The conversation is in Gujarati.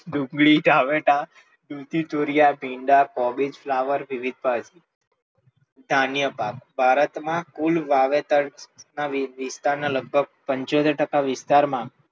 ડુંગળી, ટામેટાં, દૂધી, તુરીયા, ભીંડા, કોબીજ, ફ્લાવર, વિવિધ ભાજી, ધાન્ય પાક, ભારત ના કુલ વાવેતર ના વિસ્તાર ના લગભગ પંચોતેર ટકા વિસ્તાર માં,